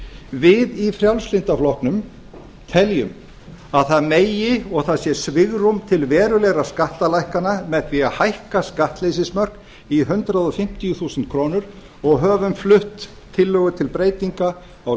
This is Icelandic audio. við í frjálslynda flokknum teljum að það megi og það sé svigrúm til verulegra skattalækkana með því að hækka skattleysismörk í hundrað fimmtíu þúsund krónur og höfum flutt tillögu til breytinga á